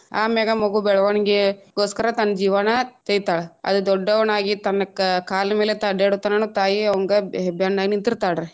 ಆಮ್ಯಾಗ ಮಗು ಬೆಳವಣಿಗೆಗೊಸ್ಕರ ತನ್ನ್ ಜೀವಾನ ತೆಯ್ತಾಳ ಅದ ದೊಡ್ಡವನಾಗಿ ತನ್ನ ಕಾ~ ಕಾಲ ಮೇಲೆ ತಾನ ಅಡ್ಯಾಡುತನನು ತಾಯಿ ಅವಂಗ ಬೆನ್ನ ಆಗಿ ನಿಂತಿರ್ತಾಳ ರೀ.